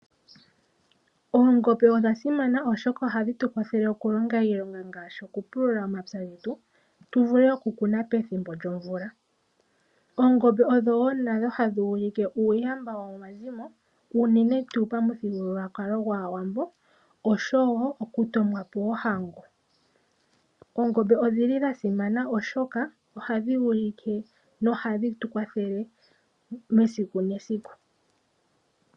Oongombe odha simana oshoka ohadhi tu kwathele oku longa iilonga ngaashi okupulula ompya getu, tu vule oku kuna pethimbo lyomvula. Oongombe odhowo natango hadhi ulike uuyamba womomazimo uunene tuu pamuthigululwakalo gwaawambo oshowo oku tomwa po ohango. Oongombe odhili dha simana oshoka ohadhi ulike nohadhi tu kwathelele mesiku nesiku.